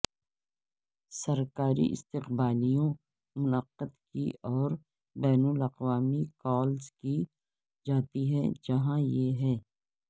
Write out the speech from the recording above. سرکاری استقبالیوں منعقد کی اور بین الاقوامی کالز کی جاتی ہیں جہاں یہ ہے